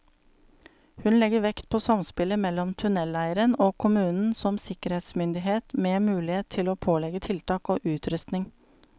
Hun legger vekt på samspillet mellom tunneleieren og kommunen som sikkerhetsmyndighet, med mulighet til å pålegge tiltak og utrustning.